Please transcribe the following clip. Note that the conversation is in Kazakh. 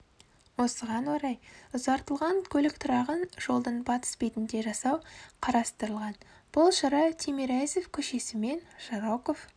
осыған орай ұзартылған көлік тұрағын жолдың батыс бетінде жасау қарастырылған бұл шара тимирязев көшесі мен жароков